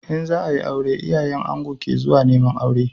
In za a yi aure, iyayen ango ke zuwa neman aure.